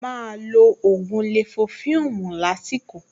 Máa lo ògùn lẹ̀fófẹ́ẹ̀mù lásìkò